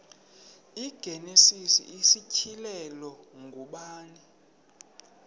igenesis isityhilelo ngubani